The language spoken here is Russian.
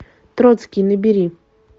троцкий набери